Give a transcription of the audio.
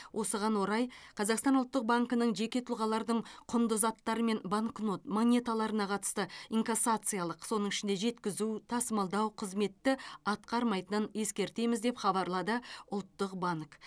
осыған орай қазақстан ұлттық банкінің жеке тұлғалардың құнды заттары мен банкнот монеталарына қатысты инкассациялық соның ішінде жеткізу тасымалдау қызметті атқармайтынын ескертеміз деп хабарлады ұлттық банк